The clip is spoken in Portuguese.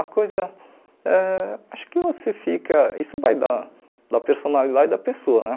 A coisa ãh... Acho que você fica... Isso vai da da personalidade da pessoa, né?